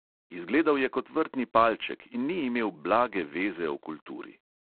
Izgledal je kot vrtni palček in ni imel blage veze o kulturi.